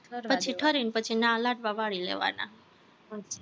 પછી ઠરીને ના લાડવા વળી લેવાના